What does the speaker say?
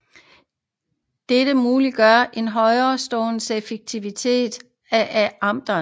Dette muliggør en høj strålingseffektivitet af antennen